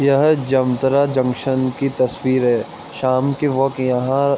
यहाँ जामताड़ा जंक्शन कि तस्वीर हैशाम के वक्त यहाँ --